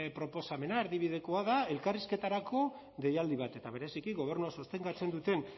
proposamena erdibidekoa da elkarrizketarako deialdi bat eta bereziki gobernua sustengatzen duten